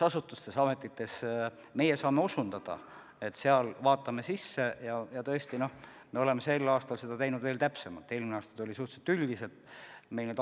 Tõesti, me oleme sel aastal teinud seda tööd veel täpsemalt, eelmine aasta olid andmed veidi suhtelised.